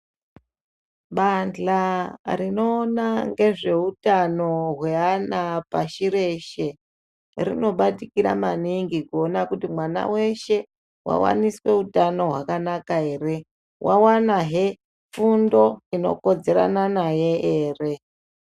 Bandhla rinoona ngezveutano hweana pashi reshe rinobatikira maningi kuona kuti mwana weshe wawaniswa utano hwakanaka here, wawanahe fundo inokodzerana naye ere.